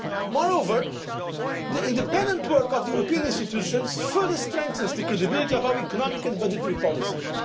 way. Moreover, the independent work of the European institutions further strengthens the credibility of our economic and budgetary policies.